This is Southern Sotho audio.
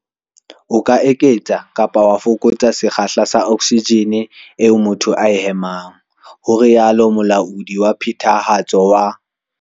"O ka eketsa kapa wa fokotsa sekgahla sa oksijene eo motho a e phefumolohang," ho rialo Molaodi wa Phethahatso wa.